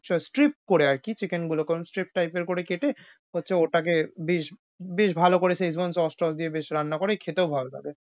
so strip করে আরকি chicken গুলোকে stripe type এর করে কেটে হচ্ছে ওটাকে বেশ~বেশ ভাল করে Szechuan sauce টস দিয়ে বেশ রান্না করে খেতেও ভাল লাগে।